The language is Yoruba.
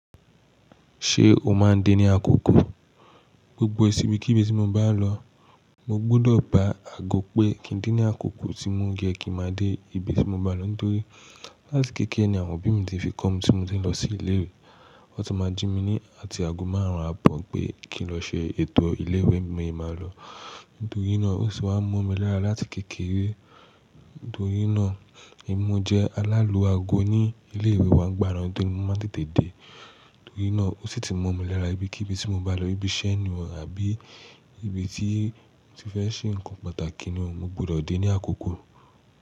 Ṣé o máa ń dé ní àkókò? Gbogbo ìsinmi kí ibi tí mo bá lọ, mo gbọdọ ba aago pé kí ń dé ní àkókò tí mo ń yẹ kí máa dé ibi tí mo bá lọ. Nítorí láti kékeré ni àwọn òbí mi tí ń fi kọ́ mi tí mo ń lọ sí ilé ìwé, wọ́n tún máa ń jí mi ní àti aago márùn-ún ààbọ̀ pé kí n lọ ṣe ètò ilé ìwé mí máa lọ. Nítorí náà ó sì wá ń mọ mi lára láti kékeré. Nítorí náà, ẹmi mo jẹ́ alálù áago ní ilé ìwé wá ngbàna tó rí mo máa ń tètè dé. Nítorí náà, ó sì ti mọ́ mi lára ibikíbi tí mo bá lọ ibi iṣẹ́ ni o àbí, ibi tí mo ti fẹ́ ṣe nǹkan pàtàkì ni mo gbọdọ̀ dé ní àkókò.